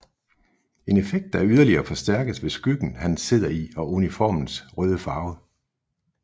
En effekt der yderligere forstærkes ved skyggen han sidder i og uniformens røde farve